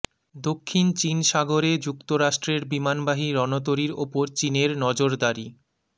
দক্ষিণ চীন সাগরে যুক্তরাষ্ট্রের বিমানবাহী রণতরীর ওপর চীনের নজরদারি